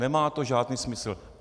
Nemá to žádný smysl.